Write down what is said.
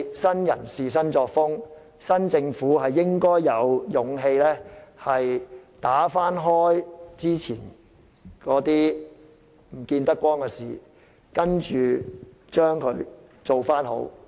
新人事、新作風，新政府應該有勇氣翻開之前見不得光的事，使之重返正軌。